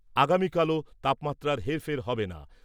আগামীকালও তাপমাত্রার হেরফের হবে না।